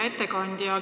Hea ettekandja!